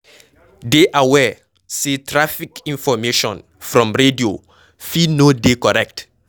Dey aware sey traffic information from radio fit no dey correct